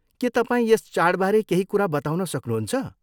के तपाईँ यस चाडबारे केही कुरा बताउन सक्नुहुन्छ?